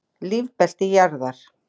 Lífbelti jarðar.